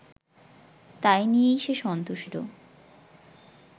তাই নিয়েই সে সন্তুষ্ট